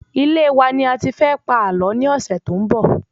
Ilé wa ni a ti fẹ pa àlọ́ ni ọsẹ to n bo